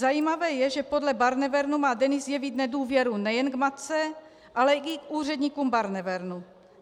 Zajímavé je, že podle Barnevernu má Denis jevit nedůvěru nejen k matce, ale i k úředníkům Barnevernu.